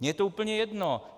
Mně je to úplně jedno.